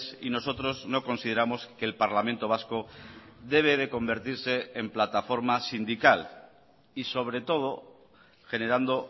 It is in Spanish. y nosotros no consideramos que el parlamento vasco debe de convertirse en plataforma sindical y sobre todo generando